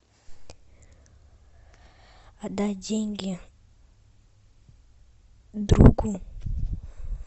отдать деньги другу